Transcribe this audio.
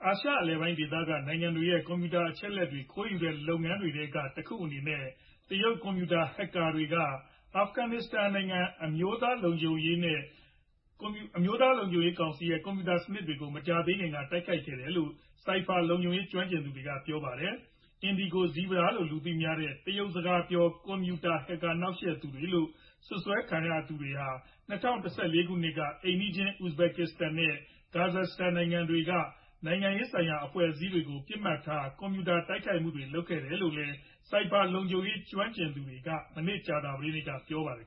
ာရှအလယ်ပိုင်းဒေသက နိုင်ငံတွေရဲ့ ကွန်ပြူတာအချက်အလက်တွေ ခိုးယူနေတဲ့လုပ်ရပ်တွေထဲ ကတခုအနေနဲ့ တရုတ်ကွန်ပြူတာ Hackers တွေဟာ အာဖဂန်နစ္စတန် အမျိုးသား လုံခြုံရေးကောင်စီ ရဲ့ကွန်ပြူတာစနစ်တွေကို မကြာသေးခင်က တိုက်ခိုက်ခဲ့တယ်လို့ Cyber လုံခြုံရေး ကျွမ်းကျင်သူတွေကပြောပါတယ်။ IndigoZebra လို့လူသိများတဲ့ တရုတ်စကားပြော ကွန်ပြူတာ Hackers နှောက်ယှက်သူတွေလို့ စွပ်စွဲထားသူတွေဟာ ၂ဝ၁၄ ခုနှစ်က အိမ်နီးချင်း Uzbekistanနဲ့ Kyrgyzstan နိုင်ငံတွေက နိုင်ငံရေးဆိုင်ရာအဖွဲ့တွေကို ပစ်မှတ်ထား ကွန်ပြူတာတိုက်ခိုက်မှုတွေလုပ်ခဲ့တယ်လို့လည်း Cyber လုံခြုံရေး ကျွမ်းကျင်သူတွေက မနေ့ ကြာသပတေးနေ့ကပြောပါတယ်